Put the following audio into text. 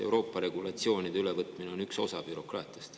Euroopa regulatsioonide ülevõtmine on ju üks osa bürokraatiast.